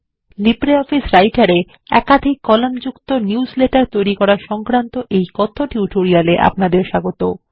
LibreOffice Writer এ -একাধিক column যুক্ত নিউজলেটার তৈরী সংক্রান্ত কথ্য টিউটোরিয়াল এ আপনাদের স্বাগত